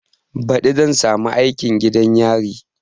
Baɗi zan samu aikin gidan yari